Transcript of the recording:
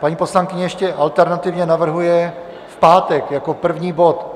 Paní poslankyně ještě alternativně navrhuje v pátek jako první bod.